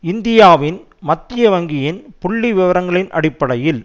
இந்தியாவின் மத்திய வங்கியின் புள்ளிவிபரங்களின் அடிப்படையில்